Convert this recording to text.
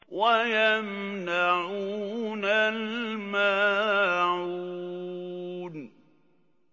وَيَمْنَعُونَ الْمَاعُونَ